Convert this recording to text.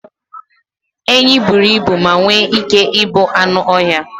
Enyí buru ibu ma nwee ike ịbụ anụ ọhịa